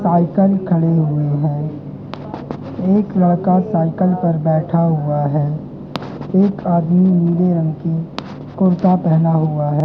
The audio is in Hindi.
साइकिल खड़ी हुई है एक लड़का साइकिल पर बैठा हुआ है एक आदमी नीले रंग की कुर्ता पहना हुआ है।